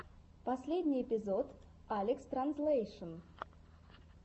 последний эпизод алекстранзлэйшн